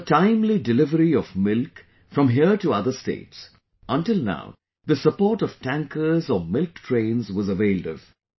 For the timely delivery of milk here to other states, until now the support of tankers or milk trains was availed of